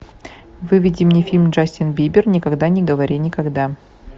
выведи мне фильм джастин бибер никогда не говори никогда